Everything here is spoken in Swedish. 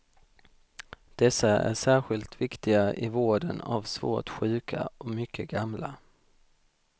Dessa är särskilt viktiga i vården av svårt sjuka och mycket gamla.